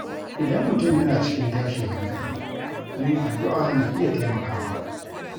Idan mutum yana cikin tashin hankali, yin addu’a na iya taimakawa.